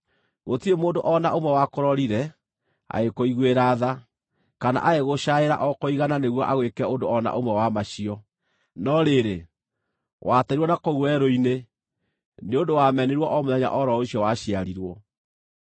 Gũtirĩ mũndũ o na ũmwe wakũrorire, agĩkũiguĩra tha, kana agĩgũcaaĩra o kũigana nĩguo agwĩke ũndũ o na ũmwe wa macio. No rĩrĩ, wateirwo na kũu werũ-inĩ, nĩ ũndũ wamenirwo o mũthenya o ro ũcio waciarirwo.